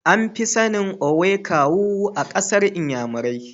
An fi sanin "Owe Kawu" a kasan nnyamurai.